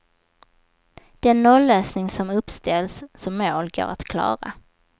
Den nollösning som uppställts som mål går att klara.